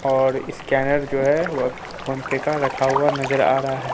और स्कैनर जो है वह फोन पे का रखा हुआ नजर आ रहा है।